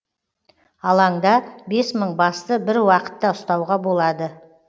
алаңда бес мың басты бір уақытта ұстауға болады